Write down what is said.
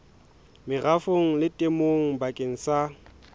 merafong le temong bakeng sa